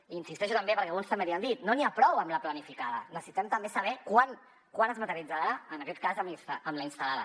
i hi insisteixo també perquè alguns també l’hi han dit no n’hi ha prou amb la planificada necessitem també saber quan es materialitzarà en aquest cas amb la instal·lada